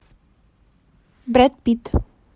брэд питт